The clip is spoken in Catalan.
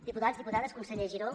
diputats diputades conseller giró